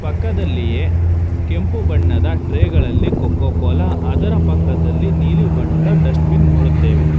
ಪಕ್ಕದಲ್ಲಿಯೆ ಕೆಂಪು ಬಣ್ಣದ ಟ್ರೇ ಗಳಲ್ಲಿ ಕೋಕೋ ಕೋಲಾ ಅದರ ಪಕ್ಕದಲ್ಲಿ ನೀಲಿ ಬಣ್ಣದ ಡಸ್ಟ್ ಬಿನ್ ನೋಡುತ್ತೇವೆ.